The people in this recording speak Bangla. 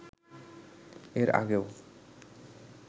এর আগেও